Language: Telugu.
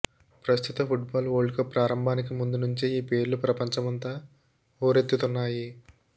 ప్రస్తుత ఫుట్బాల్ వరల్డ్ కప్ ప్రారంభానికి ముందు నుంచే ఈ పేర్లు ప్రపంచమంతా హోరెత్తుతున్నాయి